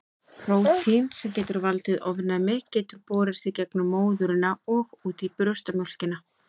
Prótín sem getur valdið ofnæmi getur borist í gegnum móðurina og út í brjóstamjólkina.